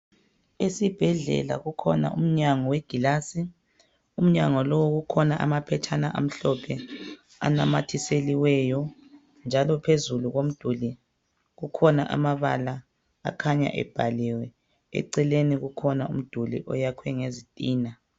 Esibhedlela kukhona umnyango wegilasi umnyango lo kukhona amaphetshana amhlophe anamathiseliweyo njalo phezulu komduli kukhona amabala akhanya ebhaliwe eceleni kukhona umduli oyakhiwe ngezitina.